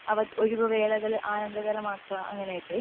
ഒഴിവ് വേലകൾ ആനന്ദകരമാക്ക അങ്ങനെ ഒക്കെ